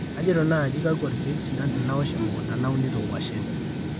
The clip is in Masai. kajito naaji kakwa ilkiek sidan tenawosh emukunta nauinito nkuashen